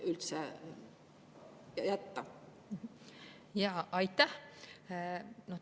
Aitäh!